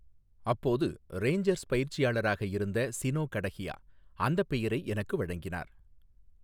அப்போது ரேஞ்சர்ஸ் பயிற்சியாளராக இருந்த சினோ கடஹியா அந்தப் பெயரை எனக்கு வழங்கினார்.